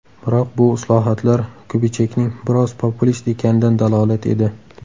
Biroq bu islohotlar Kubichekning biroz populist ekanidan dalolat edi.